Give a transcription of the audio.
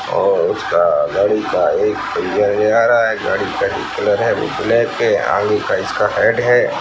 और उसका गाड़ी का एक पहि है गाड़ी का कलर है जो ब्लैक है आगे का इसका हेड है।